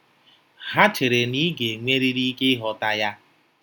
Ha chere na ị ga-enwerịrị ike ịghọta ya.